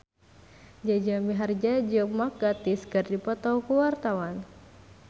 Jaja Mihardja jeung Mark Gatiss keur dipoto ku wartawan